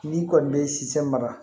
N'i kɔni bɛ si san maga